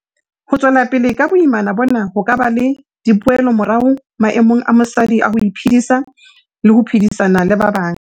Ho tswela pele ka boimana bona ho ka ba le dipoelomorao maemong a mosadi a ho iphedisa le ho phedisana le ba bang.